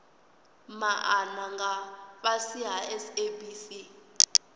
maana nga fhasi ha sabc